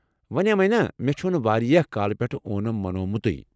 ونیمَے نا ، مےٚ چھُنہٕ واریاہ کالہٕ پٮ۪ٹھہٕ اونم منومتُے ۔